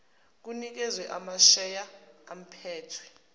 kunikezwe amasheya aphethwe